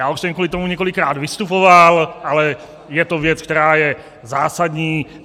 Já už jsem kvůli tomu několikrát vystupoval, ale je to věc, která je zásadní.